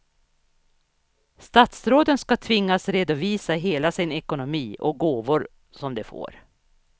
Statsråden ska tvingas redovisa hela sin ekonomi och gåvor som de får.